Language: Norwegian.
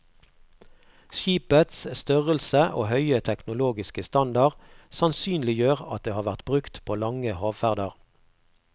Skipets størrelse og høye teknologiske standard sannsynliggjør at det har vært brukt på lange havferder.